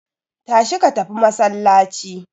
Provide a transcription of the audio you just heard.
Tashi ka tafi masallaci!